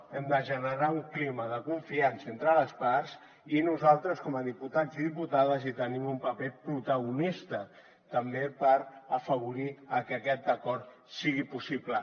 hem de generar un clima de confiança entre les parts i nosaltres com a diputats i diputades hi tenim un paper protagonista també per afavorir que aquest acord sigui possible